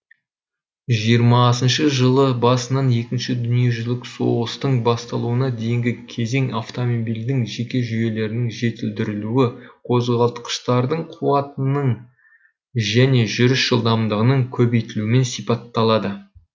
жиырмасыншы жылы басынан екінші дүниежүзілік соғыстың басталуына дейінгі кезең автомобильдің жеке жүйелерінің жетілдірілуі қозғалтқыштардың қуатының және жүріс жылдамдығының көбейтілуімен сипатталады